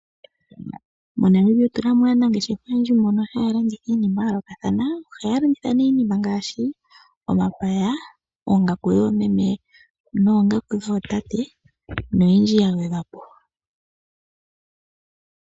MoNamibia otuna mo aanangeshefa oyendji mboka haya landitha iinima ya yoolokathana, ohaya landitha ne iinima ngashi omapaya, oongaku dhoomee nootate noyindji ya gwedhwapo.